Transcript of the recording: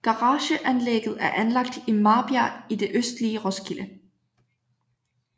Garageanlægget er anlagt i Marbjerg i det østlige Roskilde